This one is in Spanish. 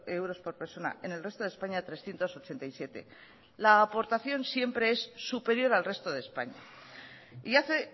euros por persona en el resto de españa trescientos ochenta y siete la aportación siempre es superior al resto de españa y hace